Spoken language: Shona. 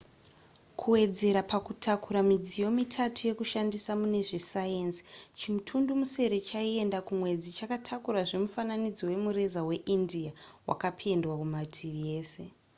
kuwedzera pakutakura midziyo mitatu yekushandisa mune zvesayenzi chimutundumusere chaienda kumwedzi chakatakurazve mufananidzo wemureza weindia wakapendwa kumativi ese